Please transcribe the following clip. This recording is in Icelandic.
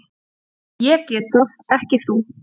Ég get það, ekki þú.